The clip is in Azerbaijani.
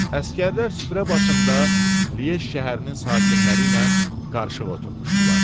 Əsgərlər süfrə başında Liej şəhərinin sakinləri ilə qarışıq oturmuşdular.